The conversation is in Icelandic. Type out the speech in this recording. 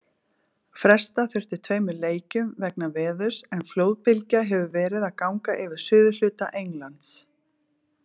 Fresta þurfti tveimur leikjum vegna veðurs en flóðbylgja hefur verið að ganga yfir suðurhluta Englands.